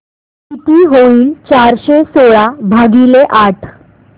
किती होईल चारशे सोळा भागीले आठ